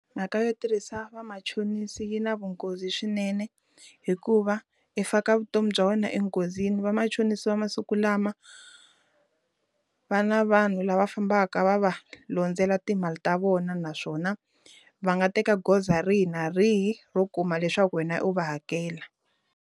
Mhaka yo tirhisa vamachonisi yi na vunghozi swinene hikuva yi faka vutomi bya wena enghozini vamachonisi va masiku lama va na vanhu lava fambaka va va londzela timali ta vona naswona va nga teka goza rihi na rihi ro kuma leswaku wena u va hakela.